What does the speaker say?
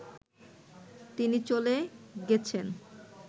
তিনি চলে গেছেন